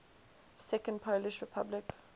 second polish republic